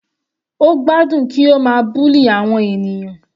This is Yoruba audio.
Ó gbádùn kí ó ma bully àwọn ènìyàn.